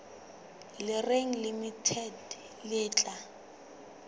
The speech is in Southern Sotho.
le reng limited le tla